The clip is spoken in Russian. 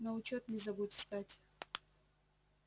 на учёт не забудь встать